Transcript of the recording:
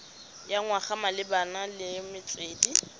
ya naga malebana le metswedi